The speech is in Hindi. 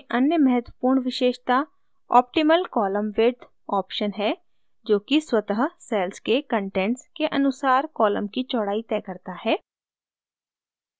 tables में अन्य महत्वपूर्ण विशेषता optimal column widthऑप्शन है जो कि स्वतः cells के कंटेंट्स के अनुसार column की चौड़ाई तय करता है